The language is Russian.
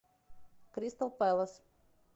кристал пэлас